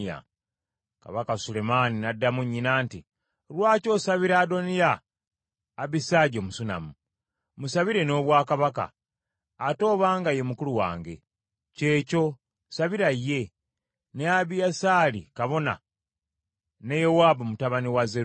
Kabaka Sulemaani n’addamu nnyina nti, “Lwaki osabira Adoniya, Abisaagi Omusunammu? Musabire n’obwakabaka, ate obanga ye mukulu wange; ky’ekyo, sabira ye, ne Abiyasaali kabona ne Yowaabu mutabani wa Zeruyiya!”